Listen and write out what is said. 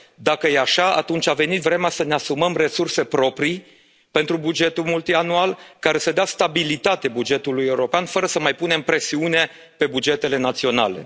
naționale. Dacă e așa, atunci a venit vremea să ne asumăm resurse proprii pentru bugetul multianual, care să dea stabilitate bugetului european fără să mai punem presiune pe bugetele